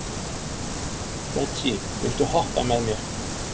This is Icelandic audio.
Betsý, viltu hoppa með mér?